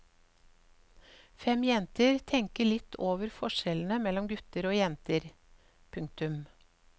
Fem jenter tenker litt over forskjellene mellom gutter og jenter. punktum